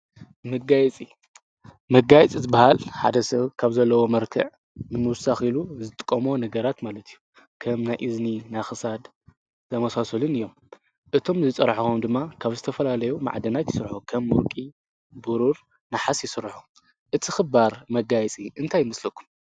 ።ምጋይጺ መጋይጽ ዝበሃል ሓደ ስብ ካብ ዘለዎ መርትዕ ምንውሳኺሉ ዝጥም ነገራት ማለት እዩዩ ከም ናይእዝኒ ናኽሳድ ዘመሣሰልን እዮም እቶም ዝጸራሕኾም ድማ ካብ ዝተፈላለዮ መዕደናት ይሥርሖ ከም ውርቂ ብሩር ንሓስ ይሥርሖ እቲ ኽባር መጋይፂ እንታይምስለኩም